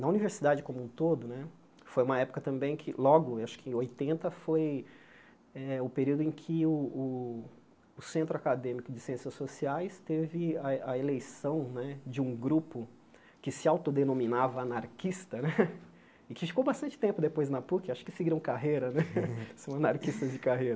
na universidade como um todo né, foi uma época também que, logo, acho que em oitenta, foi eh o período em que o o o Centro Acadêmico de Ciências Sociais teve a a eleição né de um grupo que se autodenominava anarquista né, e que ficou bastante tempo depois na Puc, acho que seguiram carreira né, são anarquistas de carreira.